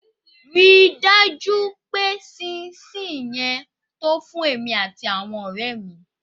Rí i dájú pé ṣín-ín-ṣi-ìn yẹn to fún èmi àti àwọn ọ̀rẹ́ mi.